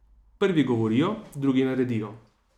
Prvi govorijo, drugi naredijo.